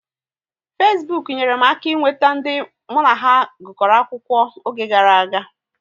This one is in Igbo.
Fesbuk nyere m aka ị nweta ndị mụ na ha gukoro akwụkwọ oge gara aga